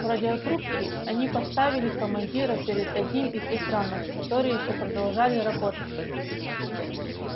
в радиорубке они поставили командира перед одним из экранов которые ещё продолжали работать